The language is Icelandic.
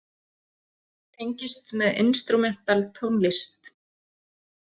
Tengist með instrumental tónlist.